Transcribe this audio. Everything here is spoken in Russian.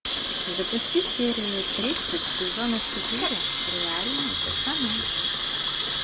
запусти серию тридцать сезона четыре реальные пацаны